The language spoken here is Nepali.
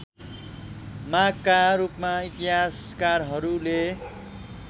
मागका रूपमा इतिहासकारहरूले